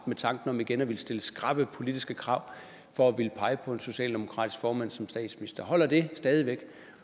med tanken om igen at ville stille skrappe politiske krav for at ville pege på en socialdemokratisk formand som statsminister holder det stadig væk